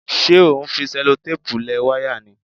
Ṣé o ń fi ṣẹlotẹ́ẹ̀pù lẹ wáyà ni?